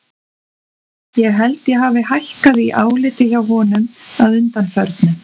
Ég held að ég hafi hækkað í áliti hjá honum að undanförnu.